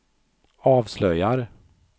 avslöjar